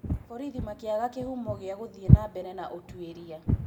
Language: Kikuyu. Borithi makĩaga kĩhumo gĩa gũthiĩ nambere na ũtũĩria.